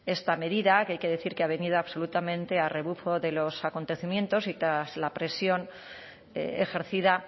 esta medida que hay que decir que ha venido absolutamente a rebufo de los acontecimientos y tras la presión ejercida